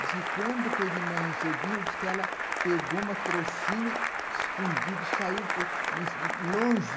Diz que quando foi de manhã cedinho, diz que ela pegou uma trouxinha escondida, saiu longe.